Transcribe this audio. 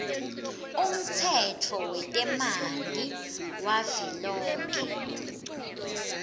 umtsetfo wetemanti wavelonkhe